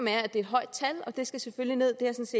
er et højt tal og det skal selvfølgelig nederst